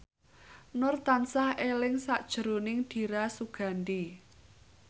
Nur tansah eling sakjroning Dira Sugandi